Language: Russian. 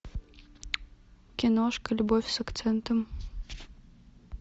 киношка любовь с акцентом